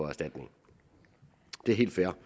erstatning det er helt fair